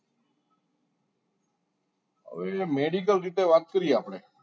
હવે medical રીતે વાત કરીએ આપણે